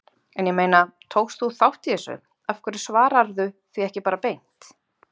En ég meina, tókst þú þátt í þessu, af hverju svararðu því ekki bara beint?